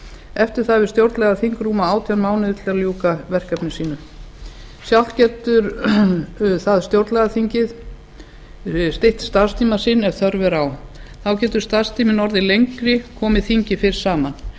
eftir það hefur stjórnlagaþing rúma átján mánuði til að ljúka verkefni sínum sjálft getur það stytt starfstíma sinn ef þörf er á þá getur starfstíminn orðið lengri komi þingið fyrr saman